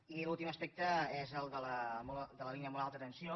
i l’últim aspecte és el de la línia de molt alta tensió